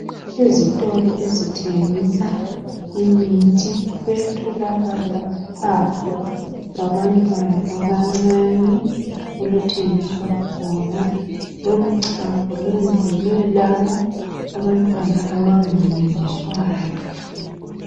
Ezitolo ezithengisa imithi kuyatholakala uchago lwabantwana abancani oluthengiswayo khona lolu chago lwenzelwe labo abantwana abanga munyiswayo